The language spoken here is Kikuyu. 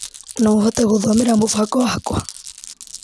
No ũhote gũthomera mũbango wakwa ?